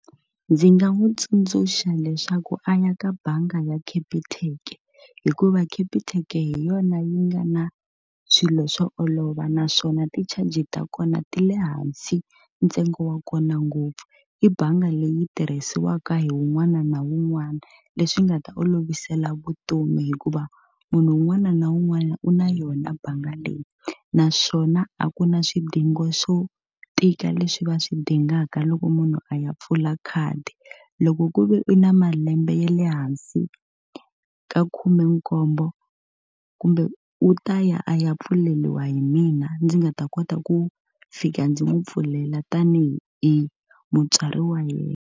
Ndzi nga n'wi tsundzuxa leswaku a ya ka bangi ya Capitec, hikuva Capitec hi yona yi nga na swilo swo olova naswona ti-charges ta kona ti le hansi ntsengo wa kona ngopfu. I bangi leyi tirhisiwaka hi wun'wana na wun'wana leswi nga ta olovisela vutomi hikuva munhu un'wana na un'wana u na yona bangi leyi. Naswona a ku na swidingo swo tika leswi va swi dingaka loko munhu a ya pfula khadi. Loko ku ve u na malembe ya le hansi ka khumenkombo kumbe u ta ya a ya pfuleriwa hi mina ndzi nga ta kota ku fika ndzi n'wi pfulela tanihi hi mutswari wa yena.